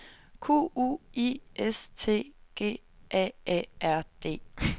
Q U I S T G A A R D